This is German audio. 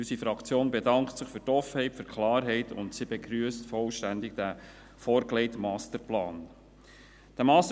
Unsere Fraktion bedankt sich für die Offenheit und Klarheit und begrüsst diesen vorgelegten Masterplan vollständig.